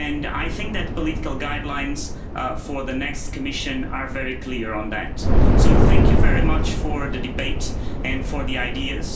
I think that the political guidelines for the next Commission are very clear on that. Thank you very much for the debate and for the ideas.